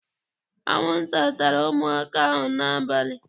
Anwụnta tara ụmụaka ahụ n'abalị.